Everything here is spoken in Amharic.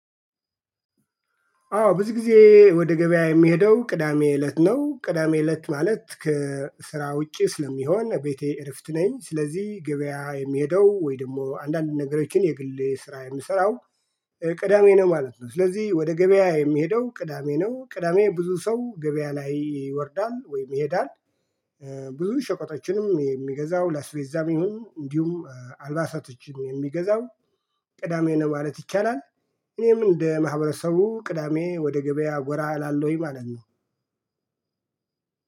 አዎ ብዙ ጊዜ ወደ ገበያ የምሄደው ቅዳሜ እለት ነው ቅዳሜ እለት ማለት ከስራ ውጪ ስለሚሆን ቤቴ እረፍት ነኝ። ስለዚህ ገበያ የምሄደው ወይ ደግሞ አንዳንድ ነገሮችን የግሌ ስራ የምሰራው ቅዳሜ ነው ማለት ነው። ስለዚህ ወደ ገበያ የምሄደው ቅዳሜ ነው ቅዳሜ ብዙ ሰው ገበያ ላይ ይወርዳል ወይም ይሄዳል። ብዙ ሸቆጣችንም የሚገዛው ለአስቤዛ የሚሆን እንዲሁም አልባሳቶችን የሚገዛው ቅዳሜ ነው ማለት ይቻላል። እኔም እንደ ማህበረሰቡ ቅዳሜ ወደ ገበያ ጎራ እላለሁኝ ማለት ነው።